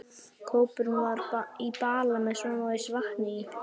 Kópurinn var í bala með smávegis vatni í.